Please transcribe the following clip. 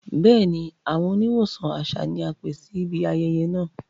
Bẹẹni, awọn oníwọsan àṣà ni a pẹ̀ síbí ayẹyẹ́ náà.